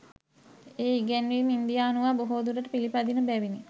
ඒ ඉගැන්වීම් ඉන්දියානුවා බොහෝදුරට පිළපදින බැවිණි